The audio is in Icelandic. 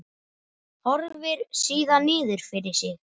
Horfir síðan niður fyrir sig.